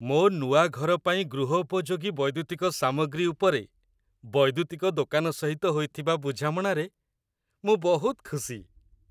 ମୋ ନୂଆ ଘର ପାଇଁ ଗୃହୋପଯୋଗୀ ବୈଦ୍ୟୁତିକ ସାମଗ୍ରୀ ଉପରେ ବୈଦ୍ୟୁତିକ ଦୋକାନ ସହିତ ହୋଇଥିବା ବୁଝାମଣାରେ ମୁଁ ବହୁତ ଖୁସି।